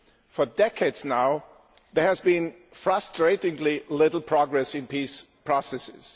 For decades now, there has been frustratingly little progress in peace processes.